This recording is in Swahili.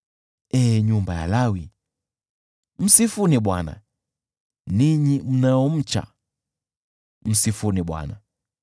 ee nyumba ya Lawi, msifuni Bwana ; ninyi mnaomcha, msifuni Bwana .